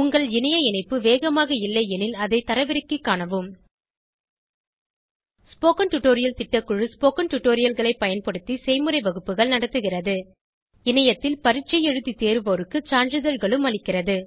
உங்கள் இணைய இணைப்பு வேகமாக இல்லையெனில் அதை தரவிறக்கிக் காணவும் ஸ்போகன் டுடோரியல் திட்டக்குழு ஸ்போகன் டுடோரியல்களைப் பயன்படுத்தி செய்முறை வகுப்புகள் நடத்துகிறது இணையத்தில் பரீட்சை எழுதி தேர்வோருக்கு சான்றிதழ்களும் அளிக்கிறது